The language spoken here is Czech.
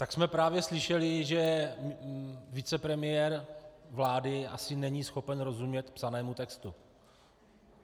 Tak jsme právě slyšeli, že vicepremiér vlády asi není schopen rozumět psanému textu.